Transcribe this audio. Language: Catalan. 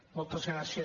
moltes gràcies